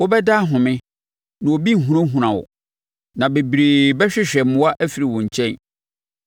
Wobɛda ahome, na obi renhunahuna wo, na bebree bɛhwehwɛ mmoa afiri wo nkyɛn.